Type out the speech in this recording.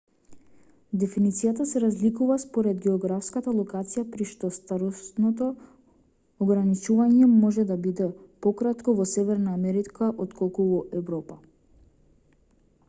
дефиницијата се разликува според географската локација при што старосното ограничување може да биде пократко во северна америка отколку во европа